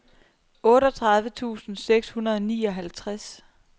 otteogtredive tusind seks hundrede og nioghalvtreds